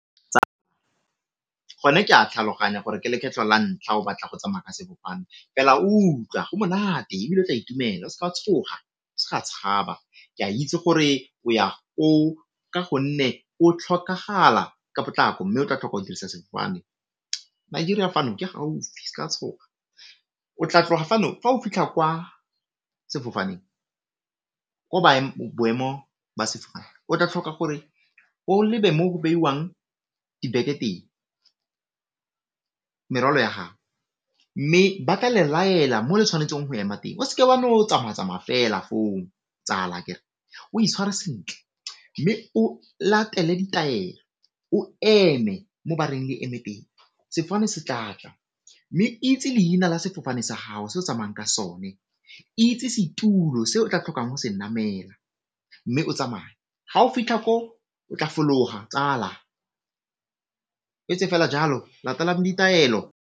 go ne ke a tlhaloganya gore ke lekgetlho la ntlha o batla go tsamaya ka sefofane, fela utlwa go monate ebile o tla itumela o se ka tshoga, o sa tshaba. Ke a itse gore o ya koo ka gonne o tlhokagala ka potlako mme o tla tlhoka go dirisa sefofane tshoga o tla tloga fano fa o fitlha kwa sefofaneng ko boemong ba sefofane o tla tlhoka gore o lebe mo go beiwang dibeke teng, merwalo ya gao mme ba tla le laela mo le tshwanetseng go ema teng o seke wa no tsamaya tsamaya fela foo tsala akere, o itshware sentle mme o latele ditaelo, o eme mo bareng le eme teng, sefofane se tlatla, mme itse leina la sefofane sa gago se o tsamayang ka sone, itse setulo se o tla tlhokang go se namela mme o tsamaye. Ga o fitlha ko o tla fologa tsala o etse fela jalo latela ditaelo.